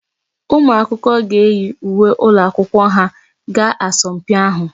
Ụmụ akwụkwọ ga eyi uwe ụlọakwụkwọ ha gaa asọmpi ahụ.